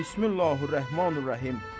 Bismilləhir-Rəhmanir-Rəhim.